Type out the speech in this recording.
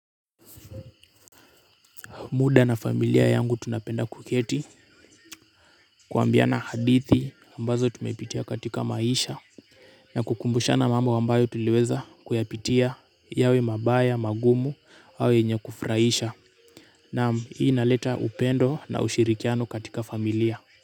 Muda na familia yangu tunapenda kuketi kuambiana hadithi ambazo tumepitia katika maisha na kukumbushana mambo ambayo tuliweza kuyapitia yawe mabaya, magumu au yenye kufurahisha. Naam, hii inaleta upendo na ushirikiano katika familia.